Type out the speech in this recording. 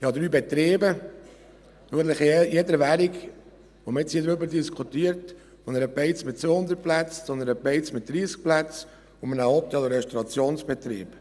Ich habe drei Betriebe in jeder Währung, über die man jetzt hier diskutiert: von einer Beiz mit 200 Plätzen, zu einer Beiz mit 30 Plätzen bis zu einem Hotel- und Restaurationsbetrieb.